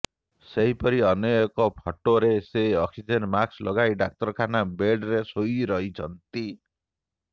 ସେହିପରି ଅନ୍ୟ ଏକ ଫଟୋରେ ସେ ଅକ୍ସିଜେନ ମାସ୍କ ଲଗାଇ ଡାକ୍ତରଖାନା ବେଡ୍ରେ ଶୋଇ ରହିଛନ୍ତି